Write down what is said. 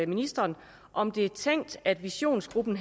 ministeren om det er tænkt at visionsgruppen